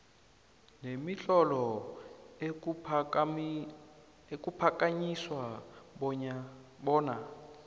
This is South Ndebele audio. nemitlolo ekuphakanyiswa bona